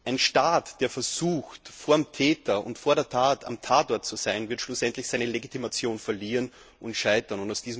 Ein Staat, der versucht, vor dem Täter und vor der Tat am Tatort zu sein, wird schlussendlich seine Legitimation verlieren und scheitern.